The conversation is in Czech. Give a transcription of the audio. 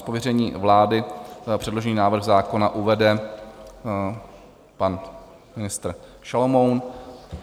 Z pověření vlády předložený návrh zákona uvede pan ministr Šalomoun.